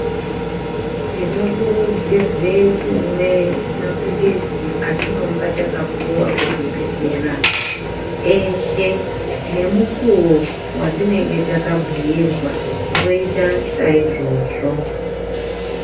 Tinokurudzirwe kumwe mapilizi atinonga takapuwa kuchibhedhlera eshe nemukuwo watinenge takabhuirwa toita saizvozvo.